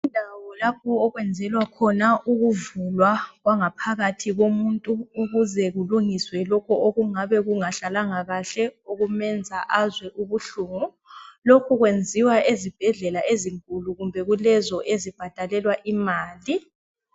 Indawo lapho okwenzelwa khona ukuvulwa kwangaphakathi komuntu ukuze kulungiswe lokho okungabe kungahlalanga kahle okwenza azwe ubuhlungu lokho kwenziwa ezibhedlela ezinkulu kumbe kulezo ezibhadalelwa imali.